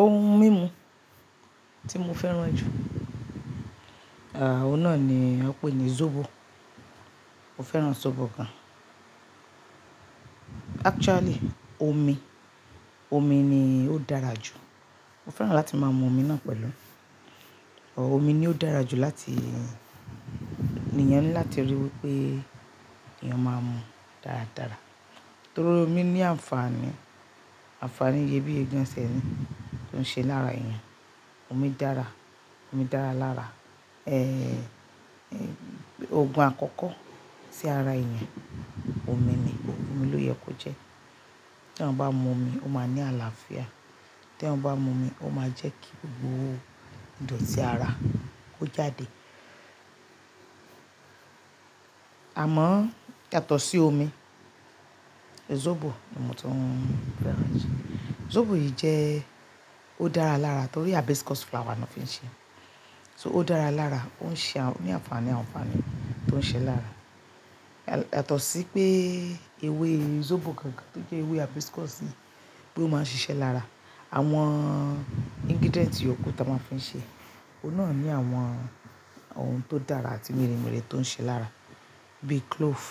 Ohun mímu tí mo fẹ́ràn jù, òun náà ni an péní zobo. Mo fẹ́ràn zobo gan. Actually omi, omi ni ó dára jù. Mo fẹ́ràn láti máa mu omi náà pẹ̀lú. Ọ̀ omi ni ó dára jù láti, ni ènìyàn ni láti ríi wí pé èèyàn máa mu dáradára. Nítorí omi ní àǹfààní, àǹfààní iyebíye gan tiẹ ni tó ń ṣe lára èèyàn. Omi dára, omi dára lára, òògùn àkọ́kọ́ sí ara èèyàn, omi ni, omi ló yẹ kó jẹ́. Tí an bá mu omi, ó máa ní àlàáfíà. Tí èèyàn bá mu omi, ó máa jẹ́ kí gbogbo ìdọ̀tí ara kó jáde. Àmọ́ yàtọ̀ sí omi, zobo ni ọmọ tó ń fẹ́ràn jù. Zobo yìí jẹ́, ó dára lára torí hibiscus flower ni wọ́n fi ń ṣe é. So ó dára lára, ó ń ṣe à-- ní àǹfààní àǹfààní tó ń ṣe lára. Yàtọ̀ sí pé ewé zobo kan kan tó jẹ́ ewé hibiscus yìí pé ó máa ń ṣiṣẹ́ lára, àwọn ingredient yòókù tó máa ń fi ṣe é, òun náà ní àwọn ohun tó dára àti rere tó ń ṣe lára bí clove,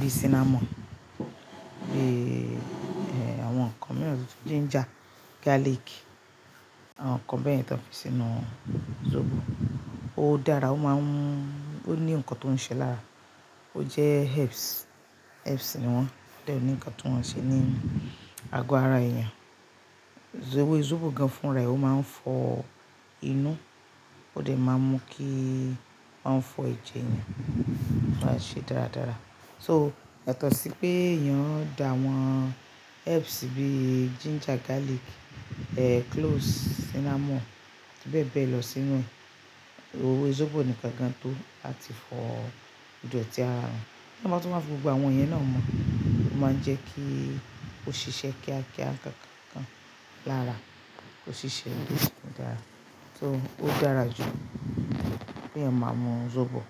bí cinnamon, bí, ẹ́ẹ́, àwọn nǹkan mìíràn, ginger, garlic, àwọn nǹkan bẹ́ẹyẹ̀n tí wọ́n fi sínú zobo. Ó dára, ó máa ń-- ó ní nǹkan tó ń ṣe lára. Ó jẹ́ herbs, herbs ni wọ́n. O dẹ̀ ni nkan ti o má n ṣé ni àgo àrà èèyàn Ewé zobo gan fúnra rẹ̀, ó máa ń fọ inú, ó de máa ń mú kí ó máa fọ ẹjẹ èèyàn, ó máa ń ṣe dáradára. So yàtọ̀ sí pé èèyàn dá àwọn herbs bí ginger, garlic, ẹ́ẹ́, cloves, cinnamon àti bẹ́ẹ̀ bẹ́ẹ̀ lọ sínú ewé zobo ni kan gan tó lá ti fọ ìdọ̀tí ara òun. Nígbà tí wọ́n bá fi gbogbo àwọn iyen náà mo, ó máa ń jẹ́ kí ó ṣiṣẹ́ kíákíá kan kan kan lára, kó ṣiṣẹ́ dára. So ó dára jù pé èèyàn máa mu zobo.